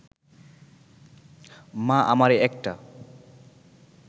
মা আমারে একটা